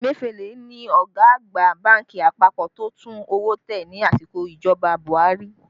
Emefiele ni ọ̀gá àgbà bánkì àpapọ̀ tó tún owó tẹ ní àsìkò ìjọba Buhari